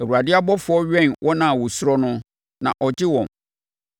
Awurade ɔbɔfoɔ wɛn wɔn a wɔsuro no, na ɔgye wɔn.